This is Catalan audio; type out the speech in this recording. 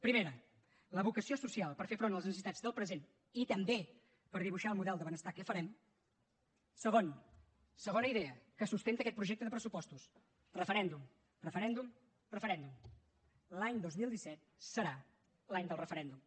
primera la vocació social per fer front a les necessitats del present i també per dibuixar el model de benestar que farem segon segona idea que sustenta aquest projecte de pressupostos referèndum referèndum referèndum l’any dos mil disset serà l’any del referèndum